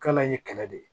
K'ale ye kɛlɛ de ye